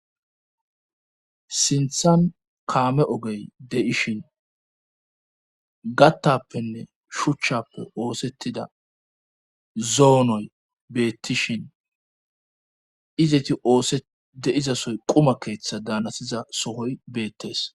Sinthan kaame ogey deishin gattappenne shuchchappe oosettida zoonoy beettishin izeti oosedeizasoy quma keeththa daanasiza sohoy beettees.